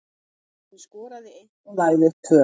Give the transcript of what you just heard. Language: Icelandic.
Hinn skoraði eitt og lagði upp tvö.